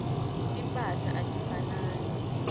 timphahla atifanani